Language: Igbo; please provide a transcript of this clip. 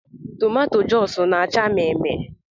Toomatoea Joosu na -acha mmee mmee